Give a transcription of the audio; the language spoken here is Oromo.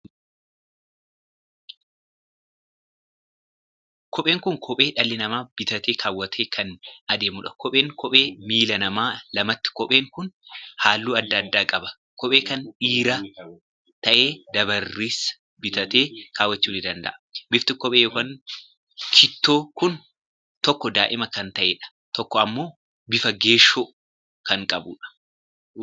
Kopheen kun kophee dhalli namaa bitatee kaawwatee kan adeemuudha. Kopheen kophee miillaa nama lamaati. Kopheen kun halluu addaa addaa qaba. Kophee kan dhiiraa tahe dubarris bitatee kaawwachuu ni danda'u. Bifti kophee ykn kitoo kun tokko diimaa kan taheedha. Tokko ammoo bifa geeshoo kan qabuudha.